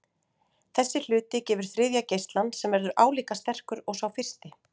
Þessi hluti gefur þriðja geislann sem verður álíka sterkur og sá fyrsti.